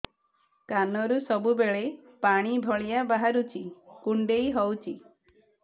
କାନରୁ ସବୁବେଳେ ପାଣି ଭଳିଆ ବାହାରୁଚି କୁଣ୍ଡେଇ ହଉଚି